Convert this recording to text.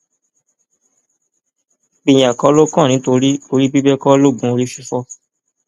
ìpínyà kọ ló kàn nítorí orí bíbẹ kọ loògùn orí fífọ